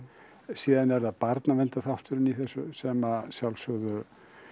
síðan er það barnaverndarþátturinn í þessu sem sjálfsögðu